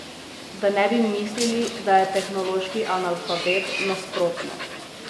Da ne bi mislili, da je tehnološki analfabet, nasprotno.